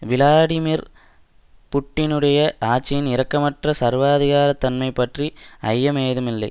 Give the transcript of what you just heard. Vladimir புட்டினுடைய ஆட்சியின் இரக்கமற்ற சர்வாதிகாரத் தன்மை பற்றி ஐயம் ஏதும் இல்லை